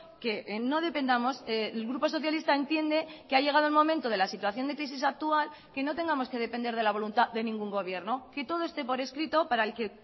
que no dependamos el grupo socialista entiende que ha llegado el momento de la situación de crisis actual que no tengamos que depender de la voluntad de ningún gobierno que todo esté por escrito para el que